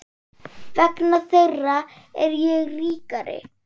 Vegna þeirra er ég ríkari.